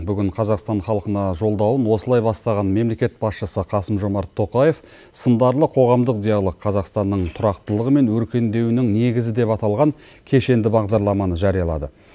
бүгін қазақстан халқына жолдауын осылай бастаған мемлекет басшысы қасым жомарт тоқаев сындарлы қоғамдық диалог қазақстанның тұрақтылығы мен өркендеуінің негізі деп аталған кешенді бағдарламаны жариялады